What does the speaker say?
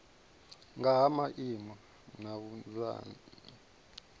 nga ha maimo na vhunzani